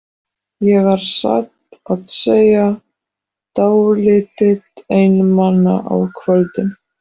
Ég var satt að segja dálítið einmana á kvöldin.